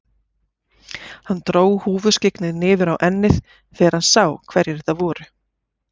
Hann dró húfuskyggnið niður á ennið þegar hann sá hverjir þetta voru.